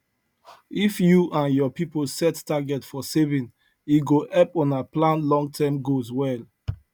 if you and your people set target for saving e go help una plan longterm goals well